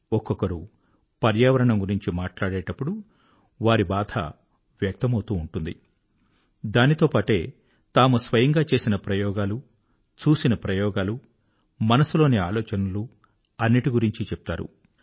ఒక్కొక్కరు పర్యావరణం గురించి మాట్లాడేటప్పుడు వారి బాధ వ్యక్తమౌతూ ఉంటుంది దాంతోపాటే తాము స్వయంగా చేసిన ప్రయోగాలు చూసిన ప్రయోగాలు మనసులోని ఆలోచనలు అన్నిటి గురించీ చెప్తారు